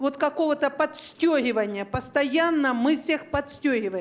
вот какого-то подстёгивания постоянно мы всех подстёгиваем